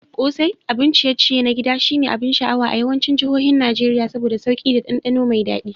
Ƙosai, abun ciye-ciye na gida, shine abin sha'awa a yawancin jihohin Najeriya saboda sauki da dandano mai dadi.